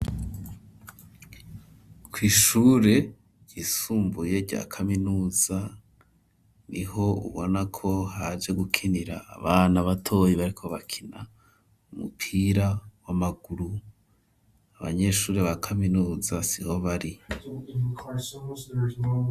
kw’ishure ryisumbuye rya kaminuza, niho ubona ko haje gukinira abana batoyi bariko bakina umupira w'amaguru, abanyeshuri ba kaminuza siho bari.